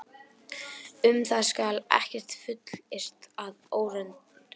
Um það skal ekkert fullyrt að óreyndu.